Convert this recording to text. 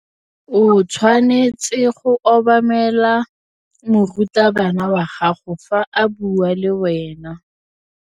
O tshwanetse go obamela morutabana wa gago fa a bua le wena.